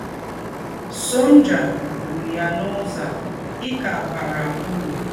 Sọ̀njà kwụ̀rụ̀ yá n’ứzọ̀ à: Ị́ kà bàrà ứrụ̀.